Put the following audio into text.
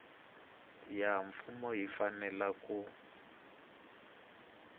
ya mfumo yi fanele ku